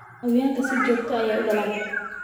Xayawaanku si joogto ah ayey u dhalaan.